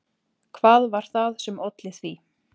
Hvað var það sem olli því?